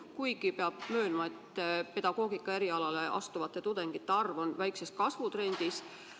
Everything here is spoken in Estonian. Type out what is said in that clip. Kuigi peab möönma, et pedagoogika erialale astuvate tudengite arv on väikses kasvutrendis.